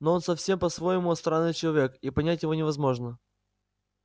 но он совсем по-своему странный человек и понять его невозможно